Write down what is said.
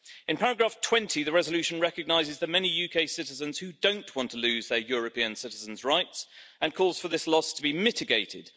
In paragraph 20, the resolution recognises the many UK citizens who don't want to lose their European citizens' rights, and calls for this lost to be mitigated.